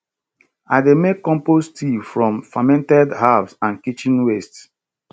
i dey make compost tea from fermented herbs and kitchen waste